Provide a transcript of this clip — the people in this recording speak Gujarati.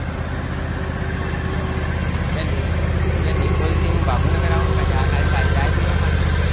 બે બે નિકોલથી હું બાપુનગર આવું ખાલી ચા પીવા માટે?